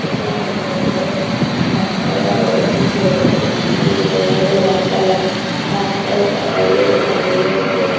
এখানে বড় বড় গাছ পালা রয়েছে। ব বিভিন্ন ধরনের গাছপালা। গাছ পালার পাতাগুলোর রঙ রয়েছে।